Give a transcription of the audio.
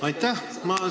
Aitäh!